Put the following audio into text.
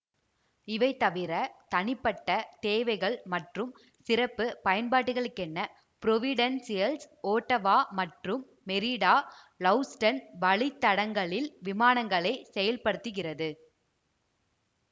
இவை தவிர தனிப்பட்ட தேவைகள் மற்றும் சிறப்பு பயன்பாடுகளுக்கென புரோவிடென்சியல்ஸ் ஓட்டவா மற்றும் மெரிடா ஹௌவுஸ்டன் வழித்தடங்களில் விமானங்களை செயல்படுத்துகிறது